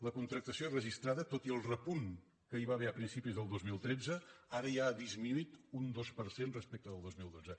la contractació registrada tot i el repunt que hi va haver a principis del dos mil tretze ara ja ha disminuït un dos per cent respecte del dos mil dotze